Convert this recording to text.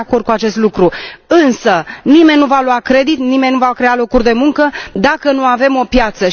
Eu sunt de acord cu acest lucru, însă nimeni nu va lua credit, nimeni nu va crea locuri de muncă, dacă nu avem o piață.